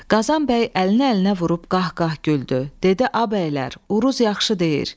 Qazan bəy əlini əlinə vurub qahqah güldü, dedi: A bəylər, Uruz yaxşı deyir.